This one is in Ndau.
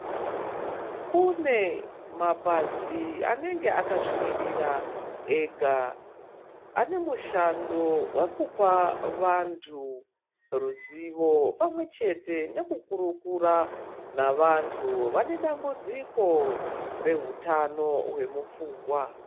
Kune mapazi anenge akazvimurira ega. Anemushando wekupa vantu ruzivo pamwe chete nekukurukura navantu vanedambudziko rehutano hwemupfungwa.